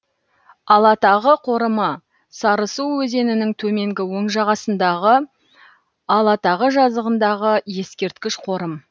алатағы қорымы сарысу өзенінің төменгі оң жағасындағы алатағы жазығындағы ескерткіш қорым